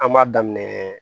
An b'a daminɛ